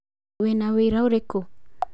Wĩna wĩira ũrĩkũ.